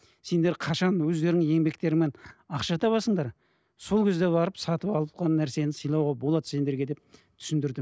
сендер қашан өздеріңнің еңбектеріңмен ақша табасыңдар сол кезде барып сатып алған нәрсені сыйлауға болады сендерге деп түсіндірді